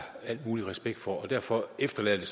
al mulig respekt for og derfor efterlader det